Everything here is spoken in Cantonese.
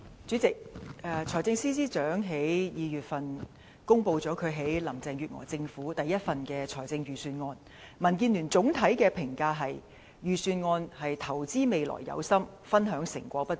主席，財政司司長在2月公布他在林鄭月娥政府中的首份財政預算案後，民主建港協進聯盟對預算案的總體評價是"投資未來有心，分享成果不足"。